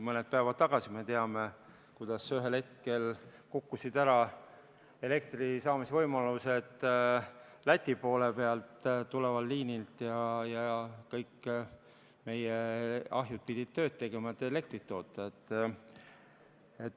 Mõni päev tagasi, me teame, ühel hetkel kukkusid ära elektri saamise võimalused Läti poole pealt tulevalt liinilt ja kõik meie ahjud pidid tööd tegema, et elektrit toota.